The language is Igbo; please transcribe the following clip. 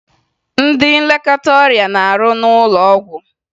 Ndị nlekọta ọrịa na-arụ n'ụlọ ọgwụ